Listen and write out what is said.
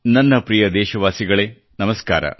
ನನ್ನ ಪ್ರಿಯ ದೇಶವಾಸಿಗಳೇ ನಮಸ್ಕಾರ